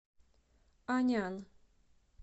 анян